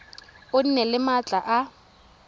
o nne le maatla a